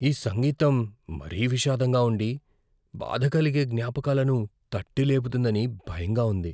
ఈ సంగీతం మరీ విషాదంగా ఉండి, బాధాకలిగే జ్ఞాపకాలను తట్టి లేపుతుందని భయంగా ఉంది.